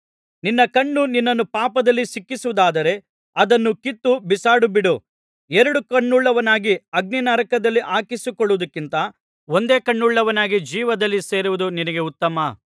ನಿನ್ನ ಕಣ್ಣು ನಿನ್ನನ್ನು ಪಾಪದಲ್ಲಿ ಸಿಕ್ಕಿಸುವುದಾದರೆ ಅದನ್ನು ಕಿತ್ತು ಬಿಸಾಡಿಬಿಡು ಎರಡು ಕಣ್ಣುಳ್ಳವನಾಗಿ ಅಗ್ನಿನರಕದಲ್ಲಿ ಹಾಕಿಸಿಕೊಳ್ಳುವುದಕ್ಕಿಂತ ಒಂದೇ ಕಣ್ಣುಳ್ಳವನಾಗಿ ಜೀವದಲ್ಲಿ ಸೇರುವುದು ನಿನಗೆ ಉತ್ತಮ